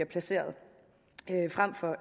placeret frem for